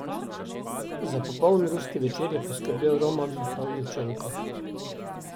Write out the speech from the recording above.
Za popoln ruski večer je poskrbel Roman Pavljučenko.